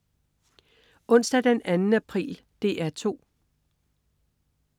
Onsdag den 2. april - DR 2: